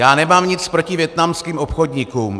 Já nemám nic proti vietnamským obchodníkům.